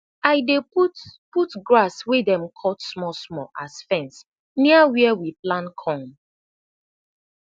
i dey put put grass wey dem cut smalsmall as fence near wia we plan corn